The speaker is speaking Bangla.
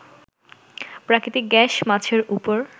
প্রাকৃতিক গ্যাস, মাছের উপর